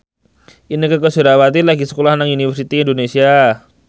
Inneke Koesherawati lagi sekolah nang Universitas Indonesia